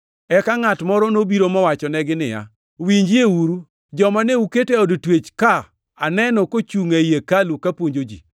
Eka ngʼat moro nobiro mowachonegi niya, “Winjieuru! Joma ne uketo e od twech ka aneno kochungʼ ei hekalu ka puonjo ji.”